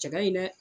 Cɛ ka ɲi dɛ